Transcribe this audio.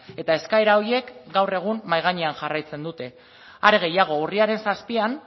eta eskaera horiek gaur egun mahai gainean jarraitzen dute are gehiago urriaren zazpian